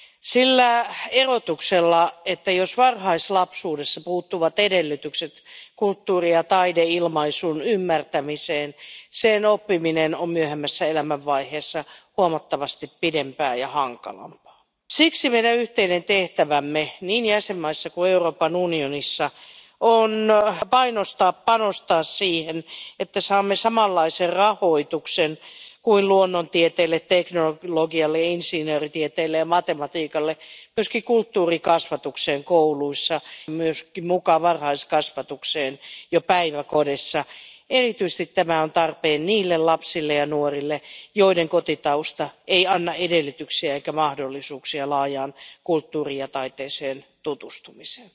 Arvoisa puhemies, kulttuurin ja taiteen lukutaito on lukutaitoon verrattava kyky ymmärtää yhteiskuntaa ja muutoksia ympärillä. Itse asiassa kulttuurin ja taiteen tekemisen ja lukemisen taito on tieteeseen verrattava kyky selittää, ymmärtää ja hahmottaa uusia asioita ympärillämme. Se on keskeinen osa meidän sivilisaatiotamme ja sivistystämme sillä erotuksella, että jos varhaislapsuudesta puuttuvat edellytykset kulttuuri ja taideilmaisun ymmärtämiseen, sen oppiminen myöhemmässä elämänvaiheessa kestää huomattavasti pidempään ja on hankalampaa. Siksi meidän yhteinen tehtävämme niin jäsenmaissa kuin Euroopan unionissa on painostaa ja panostaa siihen, että saamme myös kulttuurikasvatukseen kouluissa samanlaisen rahoituksen kuin luonnontieteille, teknologialle, insinööritieteelle ja matematiikalle ja että kulttuurikasvatus kuuluisi myös varhaiskasvatukseen jo päiväkodeissa. Erityisesti tämä on tarpeen niille lapsille ja nuorille, joiden kotitausta ei anna edellytyksiä eikä mahdollisuuksia laajaan kulttuuriin ja taiteeseen tutustumiseen.